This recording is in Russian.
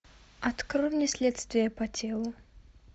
открой мне следствие по телу